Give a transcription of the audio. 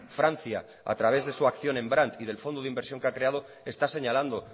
francia a través de su acción en brant y del fondo de inversión que ha creado está señalando